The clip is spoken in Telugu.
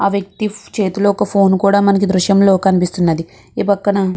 ఆ వ్యక్తి చేతిలో ఒక ఫోను కూడ మనకి ఈ దృశ్యంలో కనిపిస్తున్నది. ఈ పక్కన --